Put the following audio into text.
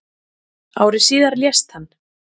Ári síðar lést hann.